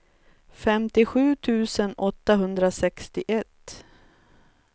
femtiosju tusen åttahundrasextioett